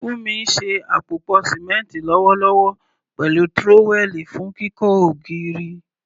Funmi ń ṣe àpòpọ̀ símẹ́ńtì lọ́wọ́lọ́wọ́ pẹ̀lú trowel fún kíkọ́ ògiri.